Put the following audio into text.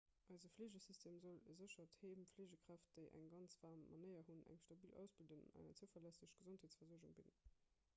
eise fleegesystem soll e séchert heem fleegekräften déi eng ganz waarm manéier hunn eng stabil ausbildung an eng zouverlässeg gesondheetsversuergung bidden